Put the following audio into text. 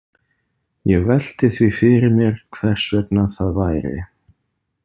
Ég velti því fyrir mér hvers vegna það væri.